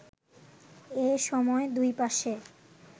এ সময় দুই পাশে